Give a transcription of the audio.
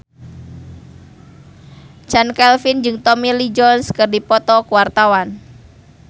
Chand Kelvin jeung Tommy Lee Jones keur dipoto ku wartawan